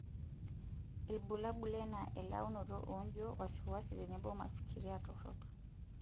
Ilbulabul enaa elaunoto oonjo, waiwasi tenebo mafikira torok.